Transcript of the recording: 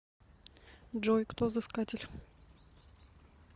джой кто взыскатель